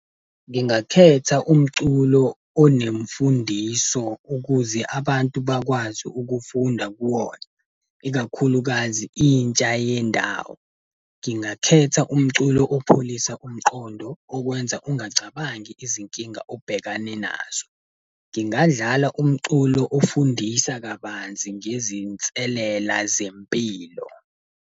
Ngingakhetha umculo onemfundiso ukuze abantu bakwazi ukufunda kuwona, ikakhulukazi intsha yendawo. Ngingakhetha umculo opholisa umqondo, okwenza ungacabangi izinkinga obhekene nazo. Ngingadlala umculo ofundisa kabanzi ngezinselela zempilo.